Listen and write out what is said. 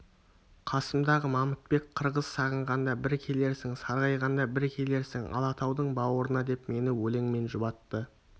қасымдағы мамытбек қырғыз сағынғанда бір келерсің сарғайғанда бір келерсің алатаудың баурына деп мені өлеңмен жұбатты